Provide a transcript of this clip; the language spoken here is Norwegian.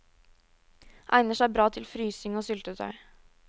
Egner seg bra til frysing og syltetøy.